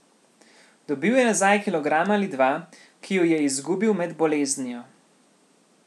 Dobil je nazaj kilogram ali dva, ki ju je izgubil med boleznijo.